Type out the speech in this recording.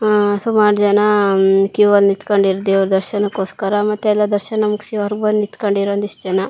ಆಆ ಸುಮಾರ್ ಜನಾಂ ಕ್ಯೂ ಅಲ್ ನಿತ್ಕೊಂಡಿರ್ ದೇವ್ರ್ ದರ್ಶನಕೊಸ್ಕರ ಮತ್ತೆ ಎಲ್ಲಾ ದರ್ಶನ ಮುಗ್ಸಿ ಹೊರಗ್ ಬಂದಿ ನಿತ್ಕೊಂಡಿರೋ ಒಂದಿಷ್ಟ್ ಜನ.